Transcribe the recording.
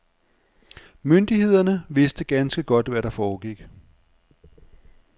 Myndighederne vidste ganske godt, hvad der foregik.